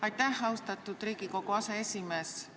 Aitäh, austatud Riigikogu aseesimees!